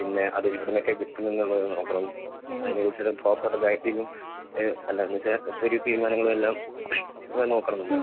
പിന്നെ അതെവിടുന്നൊക്കെ കിട്ടും എന്നുള്ളത് നോക്കണം അതിനെ കുറിച്ചുള്ള പ്രോപ്പർ പാക്കിങ്ങും അഹ് അല്ലാന്നു വെച്ചാൽ തീരുമാനങ്ങളും എല്ലാം നോക്കണമല്ലോ